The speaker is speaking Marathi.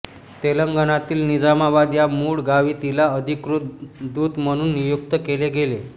तेलंगणातील निजामाबाद या मूळ गावी तिला अधिकृत दूत म्हणून नियुक्त केले गेले